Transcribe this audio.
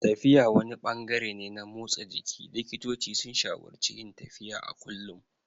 Tafiya wani ɓangare ne na motsa jiki, likitoci sun shawararci yin tafiya a kullum.